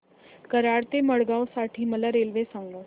कराड ते मडगाव साठी मला रेल्वे सांगा